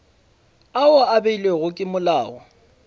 ao a beilwego ke molao